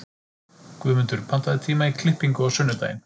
Guðmundur, pantaðu tíma í klippingu á sunnudaginn.